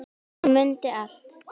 Hún mundi allt.